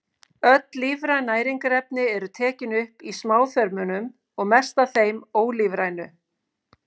Öll lífræn næringarefni eru tekin upp í smáþörmunum og mest af þeim ólífrænu.